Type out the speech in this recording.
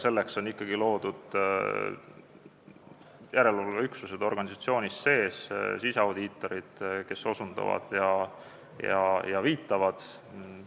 Selleks on ikkagi loodud järelevalveüksused organisatsiooni sees: siseaudiitorid, kes osutavad ja viitavad probleemidele.